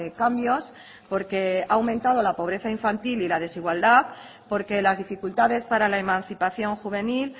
cambios porque ha aumentado la pobreza infantil y la desigualdad porque las dificultades para la emancipación juvenil